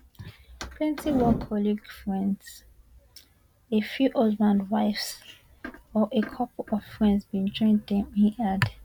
plenty work colleagues friends a few husbands wives or a couple of friends bin join dem e add